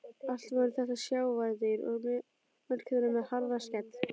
Allt voru þetta sjávardýr og mörg þeirra með harða skel.